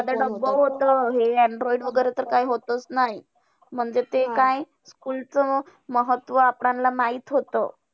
साधं डब्ब होतं हे android वगैरे तर काय होतंच नाही. म्हणजे ते काय school चं महत्व आपल्यांना माहित होतं.